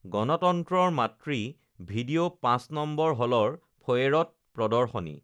গণতন্ত্ৰৰ মাতৃ ভিডিঅ ৫ নং হলৰ ফয়েৰত প্ৰদৰ্শনী